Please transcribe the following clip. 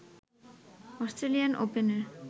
Australian ওপেনের